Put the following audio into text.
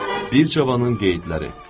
Bir cavanın qeydləri.